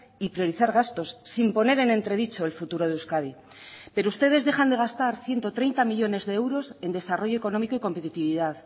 y priorizar gastos sin poner en entredicho el futuro de euskadi pero ustedes dejan de gastar ciento treinta millónes de euros en desarrollo económico y competitividad